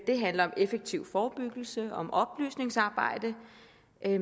det handler om effektiv forebyggelse og oplysningsarbejde